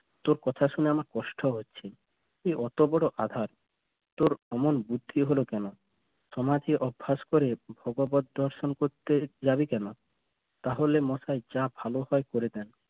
তোর কথা শুনে আমার কষ্ট হচ্ছে তুই অত বরো আঁধার তোর অমন বুদ্ধি হল কেন অভ্যাস করে ভগবত দর্শন করতে জাবি কেন? তাহলে মাথায় মা ভালো হয় করে ফেল